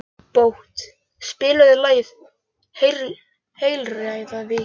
Bót, spilaðu lagið „Heilræðavísur“.